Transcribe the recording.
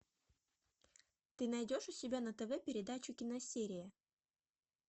ты найдешь у себя на тв передачу киносерия